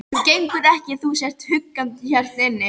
Það gengur ekki að þú sért húkandi hérna inni.